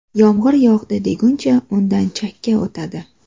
Yomg‘ir yog‘di deguncha undan chakka o‘tadi.